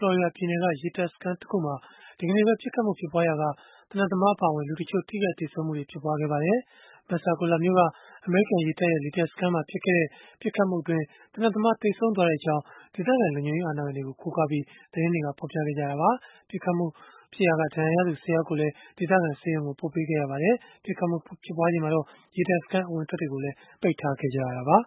လော်ရီဒါပြည်နယ်က ရေတပ်စခန်းတခုမှာ ဒီကနေ့ ပစ်ခတ်မှု ဖြစ်ပွားရာက သေနတ်သမား အပါအဝင် လူတချို့ ထိခိုက်သေဆုံးမှု ဖြစ်ပွားခဲ့ပါတယ်။ Pensacola မြို့က အမေရိကန် ရေတပ်ရဲ့ လေတပ်စခန်းမှာ ဖြစ်ခဲ့တဲ့ ပစ်ခတ်မှုအတွင်း သေနတ်သမား သေဆုံးသွားကြောင်း ဒေသခံလုံခြုံရေး အာဏာပိုင်တွေကို ကိုးကားပြီး သတင်းတွေမှာ ဖော်ပြကြပါတယ်။ ပစ်ခတ်မှုအတွင်း ဒဏ်ရာရသူ ၁၀ ယောက်လောက်ကိုလည်း ဒေသခံဆေးရုံကို ပို့ဆောင်ပေးခဲ့ရတာပါ။ ပစ်ခတ်မှုဖြစ်ပွားချိန်မှာ ရေတပ်စခန်း အဝင်အထွက်တွေကိုလည်း ပိတ်ထားခဲ့ရပါ